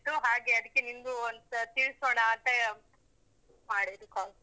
ಹಾಗೆ ಅದಕ್ಕೆ ನಿನ್ಗೂ ಒಂದ್ಸತ್ತಿ ತಿಳಿಸೋಣ ಅಂತ ಮಾಡಿದ್ದು call.